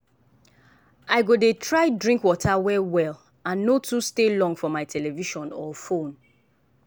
i go dey try drink water well well and no too stay long for my television or fone.